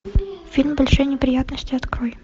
фильм большие неприятности открой